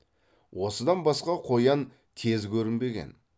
осыдан басқа қоян тез көрінбеген